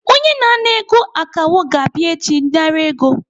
Onye na-ana ego akawo ga-abịa echi nara ego.